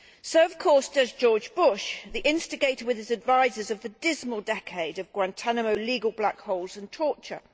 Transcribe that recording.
So of course does George Bush, the instigator with his advisers of the dismal decade of Guantánamo legal black holes and torture.